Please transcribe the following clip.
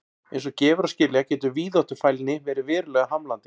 Eins og gefur að skilja getur víðáttufælni verið verulega hamlandi.